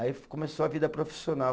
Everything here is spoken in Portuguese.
Aí começou a vida profissional.